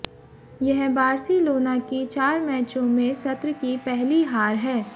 यह बार्सिलोना की चार मैचों में सत्र की पहली हार है